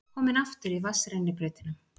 Komin aftur í vatnsrennibrautina.